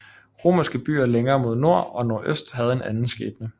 Romerske byer længere mod nord og nordøst havde en anden skæbne